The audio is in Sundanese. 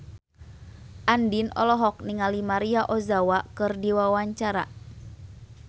Andien olohok ningali Maria Ozawa keur diwawancara